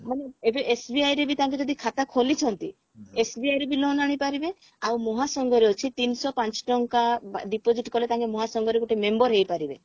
ମାନେ ଏବେ SBI ରେ ବି ତାଙ୍କେ ଯଦି ଖାତା ଖୋଲିଛନ୍ତି SBI ରେ ବି loan ଆଣିପାରିବେ ଆଉ ମହାସଂଘରେ ଅଛି ତିନିଶହ ପାଞ୍ଚ ଟଙ୍କା deposit କଲେ ତାଙ୍କେ ମହାସଂଘରେ ଗୋଟେ member ହେଇପାରିବେ